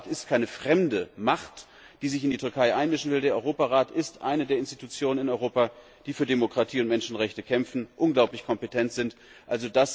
Der Europarat ist keine fremde Macht, die sich in der Türkei einmischen will, der Europarat ist eine der Institutionen in Europa, die für Demokratie und Menschenrechte kämpfen, die unglaublich kompetent ist.